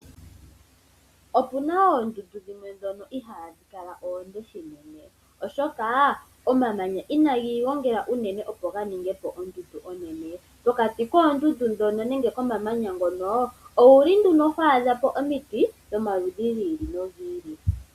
Opuna oondundu dhimwe ndhono ihaadhi kala oonde shinene, oshoka omamanya inaagi gongela unene opo ga ninge ondundu onene. Pokati koondundu ndhono nenge gomamanya ngono, owuli nduno ho adha po omiti, dhomaludhi gi ili nogi ili.